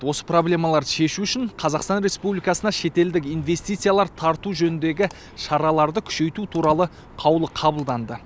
осы проблемаларды шешу үшін қазақстан республикасына шетелдік инвестициялар тарту жөніндегі шараларды күшейту туралы қаулы қабылданды